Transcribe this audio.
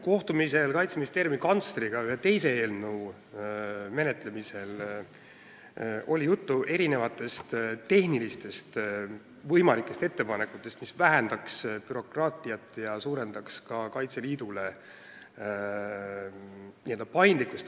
Kohtumisel Kaitseministeeriumi kantsleriga ühe teise eelnõu menetlemisel oli juttu erinevatest tehnilistest ettepanekutest, mis vähendaks bürokraatiat ja suurendaks Kaitseliidu paindlikkust.